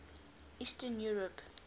eastern europe